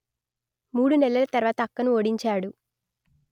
మూడు నెలల తర్వాత అక్కను ఓడించాడు